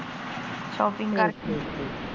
Shopping ਕਰਕੇ।